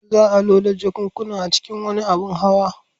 Za a loda jakunkunan cikin wani abin hawa.